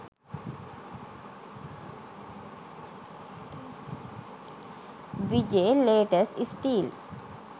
vijay latest stills